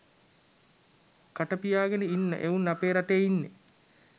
කටපියාගෙන ඉන්න එවුන් අපේ රටේ ඉන්නේ.